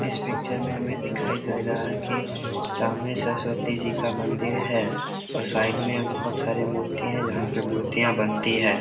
इस पिक्चर मे हमे दिखाई दे रहा है की सामने सरस्वती जी का मंदिर है और साइड में बहुत सारे मूर्तियां है जहां पे मूर्तियां बनती है।